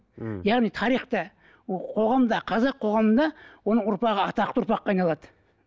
ммм яғни тарихта қоғамда қазақ қоғамында оның ұрпағы атақты ұрпаққа айналады